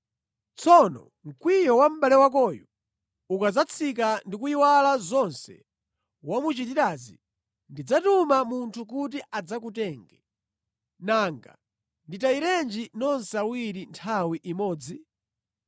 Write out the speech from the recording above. Tsono mkwiyo wa mʼbale wakoyo ukadzatsika ndi kuyiwala zonse wamuchitirazi, ndidzatuma munthu kuti adzakutenge. Nanga nditayirenji nonse awiri nthawi imodzi?”